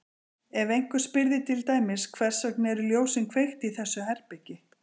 Ef einhver spyrði til dæmis Hvers vegna eru ljósin kveikt í þessu herbergi?